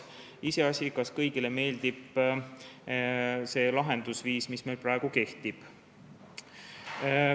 Iseasi, kas kõigile meeldib see lahendusviis, mis meil praegu kehtib.